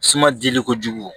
Suma dili kojugu